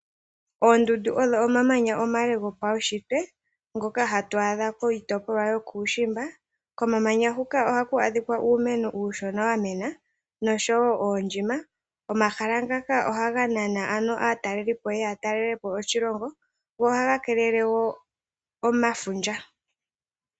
Oondundu odho omamanya omale go pawushitwe ngoka hatu adha kiitopolwa yokuushimba, komamanya huka ohaku adhika uumeno uushona wa mena nosho wo oondjima. Omahala ngaka oha ga nana aatalelipo ye ye yatalelepo oshilongo, go ohaga keelele wo omafundja.